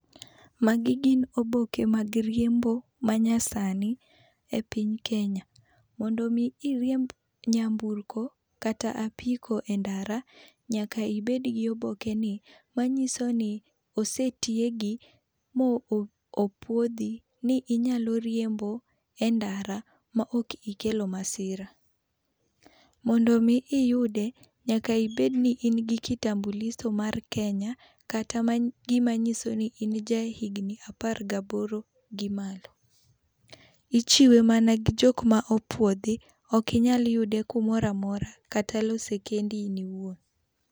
Magi gin oboke mag riembo ma nyasani e piny Kenya. Mondo mi iriemb nyamburko kata apiko e ndara, nyaka ibed gi oboke ni manyiso ni osetiegi mopuodhi ni inyalo riembo e ndara ma ok ikelo masira. Mondo mi iyude, nyaka ibed ni in gi kitambulisho mar Kenya kata gima nyiso ni in ja higni apar gi aboro[18] gi malo. Ichiwe mana gi jok ma opuodhi. Ok inyal yude kumoro amora kata lose kendi in iwuon.